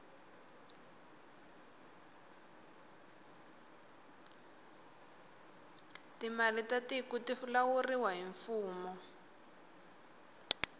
timali ta tiku ti lawuriwa hi mfumo